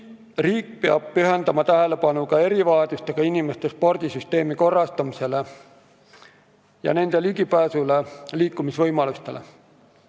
Riik peab pühendama tähelepanu ka erivajadustega inimeste spordisüsteemi korrastamisele ning nende ligipääsule ja liikumisvõimalustele.